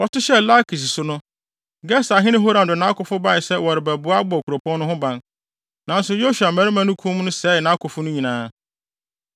Wɔto hyɛɛ Lakis so no, Geserhene Horam de nʼakofo bae sɛ wɔrebɛboa abɔ kuropɔn no ho ban. Nanso Yosua mmarima no kum no sɛee nʼakofo no nyinaa.